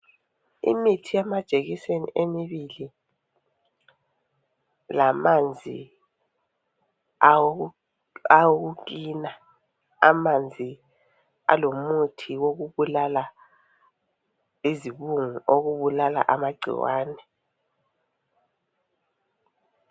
Imithi yamajekiseni emibili lamanzi awokucleaner. Amanzi alomuthi wokubulala izibungu okubulala amagcikwane.